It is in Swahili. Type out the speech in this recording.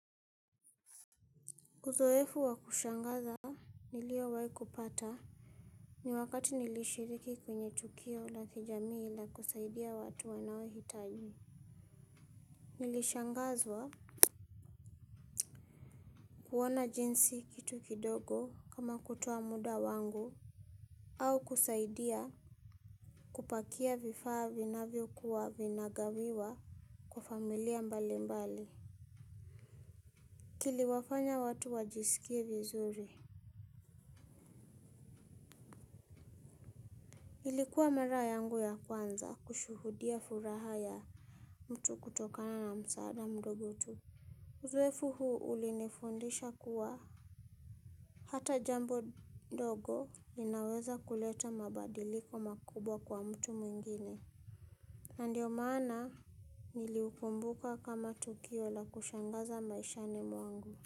Uzoefu wa kushangaza niliowai kupata ni wakati nilishiriki kwenye tukio la kijamii ili kusaidia watu wanaohitaji. Nilishangazwa kuona jinsi kitu kidogo kama kutoa muda wangu au kusaidia kupakia vifaa vinavyokuwa vinagawiwa kwa familia mbalimbali. Kiliwafanya watu wajisikie vizuri. Ilikuwa mara yangu ya kwanza kushuhudia furaha ya mtu kutokana na msaada mdogo tu. Uzoefu huu ulinifundisha kuwa hata jambo ndogo linaweza kuleta mabadiliko makubwa kwa mtu mwingine. Ndiyo maana niliukumbuka kama tukio la kushangaza maishani mwangu.